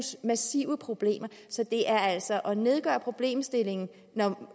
massive problemer så det er altså at nedgøre problemstillingen